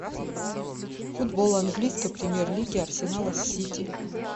футбол английской премьер лиги арсенала с сити